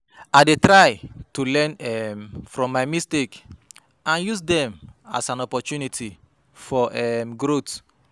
I dey try to learn um from my mistakes and use dem as an opportunity for um growth.